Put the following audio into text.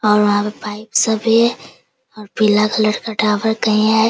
और वहाँ पे पाइप सब भी है और पीला कलर का टावर कहीं हैं।